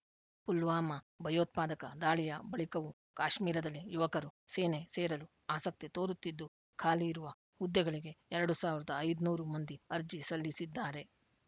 ಪುಲ್ವಾಮಾ ಭಯೋತ್ಪಾದಕ ದಾಳಿಯ ಬಳಿಕವೂ ಕಾಶ್ಮೀರದಲ್ಲಿ ಯುವಕರು ಸೇನೆ ಸೇರಲು ಆಸಕ್ತಿ ತೋರುತ್ತಿದ್ದು ಖಾಲಿ ಇರುವ ನೂರ ಹನ್ನೊಂದು ಹುದ್ದೆಗಳಿಗೆ ಎರಡು ಐದುನೂರು ಮಂದಿ ಅರ್ಜಿ ಸಲ್ಲಿಸಿದ್ದಾರೆ